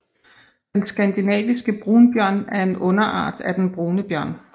Den skandinaviske brunbjørn er en underart af den brune bjørn